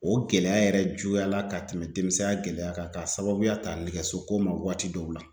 O gɛlɛya yɛrɛ juguyala ka tɛmɛ denmisɛnya gɛlɛya kan k'a sababuya ta nɛgɛsoko ma waati dɔw la